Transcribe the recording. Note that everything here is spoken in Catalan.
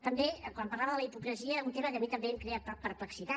també quan parlava de la hipocresia un tema que a mi també em crea perplexitat